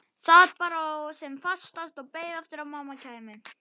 Sat bara sem fastast og beið eftir að mamma kæmi.